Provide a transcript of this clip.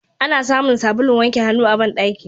Ana samun sabulun wanke hannu a bandaki.